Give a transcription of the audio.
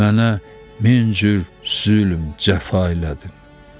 Mənə min cür zülm, cəfa elədin.